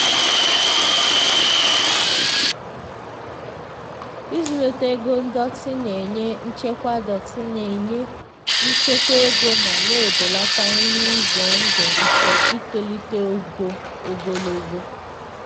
ịzụlite ego ndọtị na-enye nchekwa ndọtị na-enye nchekwa ego ma na-ebelata ihe ize ndụ nke itolite ụgwọ ogologo oge.